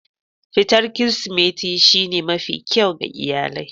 Fitar Kirsimeti shine mafi kyau ga iyalai.